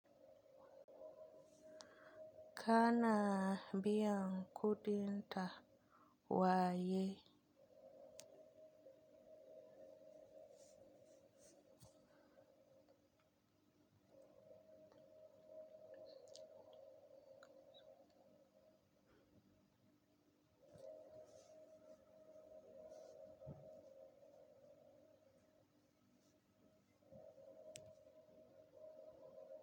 Ka na biyan kuɗin ta waye.